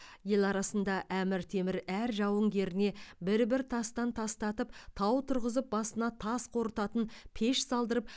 ел арасында әмір темір әр жауынгеріне бір бір тастан тастатып тау тұрғызып басына тас қорытатын пеш салдырып